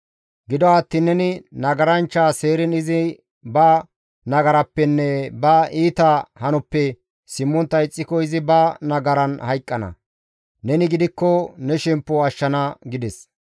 Gido attiin neni nagaranchcha seeriin izi ba nagarappenne ba iita hanoppe simmontta ixxiko izi ba nagaran hayqqana; neni gidikko ne shemppo ashshana» gides.